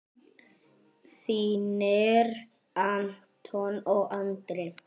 Þínir Anton og Andri.